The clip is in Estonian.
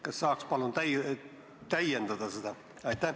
Kas saaks palun seda täiendada?